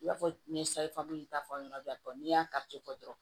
I b'a fɔ n ye ta fanbila tɔ n'i y'a dɔrɔn